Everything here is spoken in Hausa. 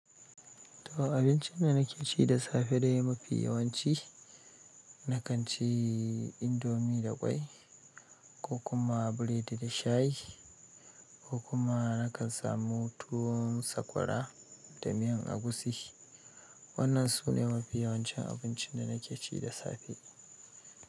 To abincin da nake ci da safe dai mafi yawanci na kan ci indomi da ƙwai ko kuma biredi da shayi ko kuma na kan samu tuwon sakwara da miyan agushi. Wannan sune mafi yawancin abincin da nake ci da safe.